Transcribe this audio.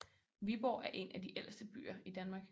Viborg er en af de ældste byer i Danmark